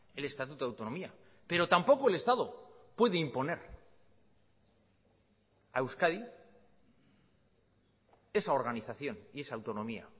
el estatuto de autonomía pero tampoco el estado puede imponer a euskadi esa organización y esa autonomía